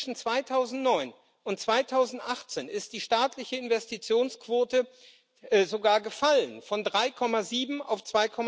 Zwischen 2009 und 2018 ist die staatliche Investitionsquote sogar gefallen von 3,7 auf